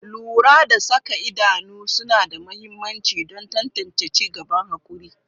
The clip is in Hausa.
Lura da saka idanu suna da mahimmanci don tantance ci gaban haƙuri.